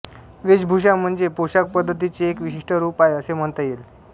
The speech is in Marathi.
वेशभूषा म्हणजे पोशाखपद्धतींचे एक विशिष्ट रूप आहे असे म्हणता येईल